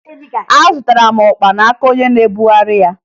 Azụtara m ọkpa n'aka onye na-ebugheri ya